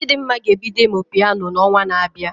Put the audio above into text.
Chidimma ga-ebido ịmụ Piano na onwa na abịa